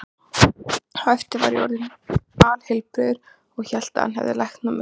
Á eftir var ég bara orðinn alheilbrigður og hélt að hann hefði læknað mig, sko.